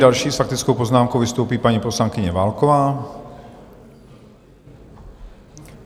Další s faktickou poznámkou vystoupí paní poslankyně Válková.